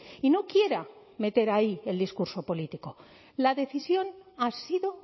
y no quiera meter ahí el discurso político la decisión ha sido